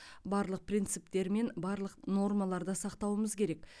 барлық принциптер мен барлық нормаларды сақтауымыз керек